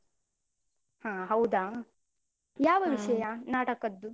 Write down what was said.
ಹಾ ಹೌದಾ? ವಿಷಯ ನಾಟಕದ್ದು?